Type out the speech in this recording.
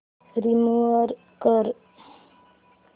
remove कर